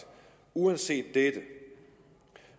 uanset dette